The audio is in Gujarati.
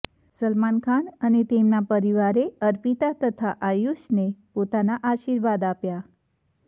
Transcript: સલમાન ખાન અને તેમના પરિવારે અર્પિતા તથા આયુષને પોતાના આર્શિવાદ આપ્યા